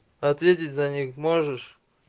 ответить за них можешь